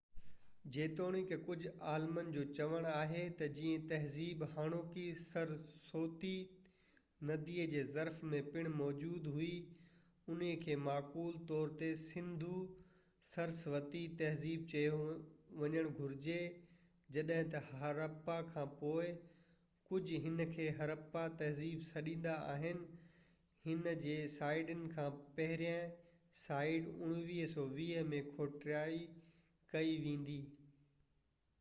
جيتوڻيڪ ڪجهه عالمن جو چوڻ آهي ته جئين تهذيب هاڻوڪي سرسوتي ندي جي ظرف ۾ پڻ موجود هئي انهي کي معقول طور تي سنڌو-سرسوتي تهذيب چيو وڃڻ گهرجي جڏهن ته هراپا کان پوءِ ڪجهه هن کي هراپا تهذيب سڏيندا آهن ان جي سائيٽن مان پهريئن سائيٽ 1920 ۾ کوٽائي ڪئي ويندي